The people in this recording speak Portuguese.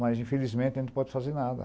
Mas, infelizmente, a gente não pode fazer nada.